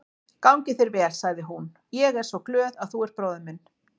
Gangi þér vel, sagði hún, ég er svo glöð að þú ert bróðir minn.